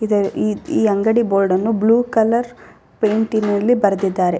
ಇದರ ಈ ಅಂಗಡಿ ಬೋರ್ಡ್ ಅನ್ನು ಬ್ಲೂ ಕಲರ್ ಪೈಂಟಿನಲ್ಲಿ ಬರೆದಿದ್ದಾರೆ.